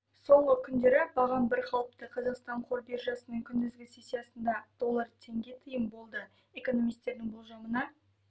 соңғы күндері бағам бірқалыпты қазақстан қор биржасының күндізгі сессиясында доллар теңге тиын болды экономисттердің болжамына